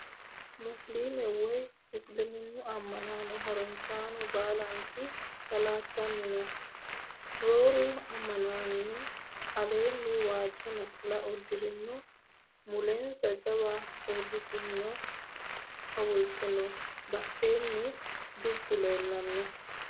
Musiliime woyi isiliminnu amma'no harunsaano baalanti salaattanno no. Rooru manni aleenni waajjo naxala uddirino mulensa jawa uurritinno hawulte no badheenni dubbu leellanno.